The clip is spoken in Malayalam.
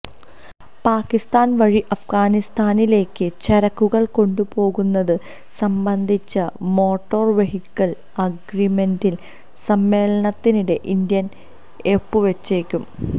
പാക്കിസ്ഥാന് വഴി അഫ്ഗാനിസ്ഥാനിലേക്ക് ചരക്കുകള് കൊണ്ടുപോകുന്നത് സംബന്ധിച്ച മോട്ടോര് വെഹിക്കിള് അഗ്രീമെന്റില് സമ്മേളനത്തിനിടെ ഇന്ത്യ ഒപ്പുവെച്ചേക്കും